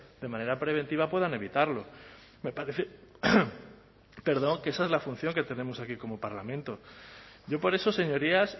de manera preventiva puedan evitarlo me parece que esa es la función que tenemos aquí como parlamento yo por eso señorías